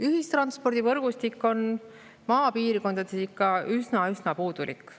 Ühistranspordivõrgustik on maapiirkondades ikka üsna puudulik.